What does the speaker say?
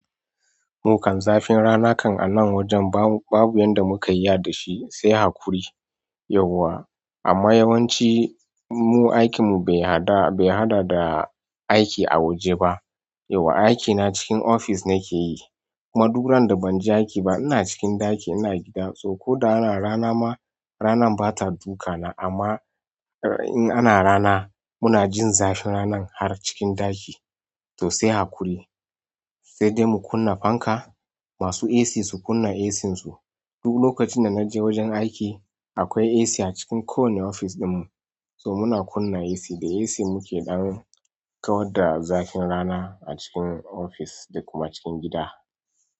Mukam zafin rana kam a anan wajen babu yanda muka iya dashi sai haƙuri yawwa amma yawanci in mu aikin mu be haɗa da aiki a waje ba yauwa aikina cikin ofis nake yi. Kuma duk randa banje aiki ba ina cikin ɗaki ina gida so ko da ana rana ma ranan bata duka na amma in ana rana muna jin zafin ranan har cikin ɗaki to sai haƙuri sai dai mu kunna fanka. Masu AC su kunna AC su. Duk lokacin da naje wajen aiki akwai AC a cikin kowane ofis ɗinmu so muna kunna AC da AC muke ɗan kawar da zafin rana a cikin ofis da kuma cikin gida.